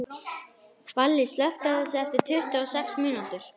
Valli, slökktu á þessu eftir tuttugu og sex mínútur.